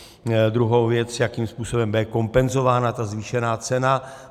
Druhá věc, jakým způsobem bude kompenzována ta zvýšená cena.